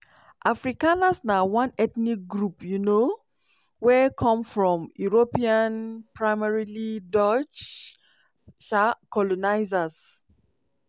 afrikaners na one ethnic group um wey come from european — primarily dutch — um colonizers.